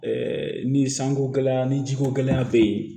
ni sanko gɛlɛya ni jiko gɛlɛya bɛ yen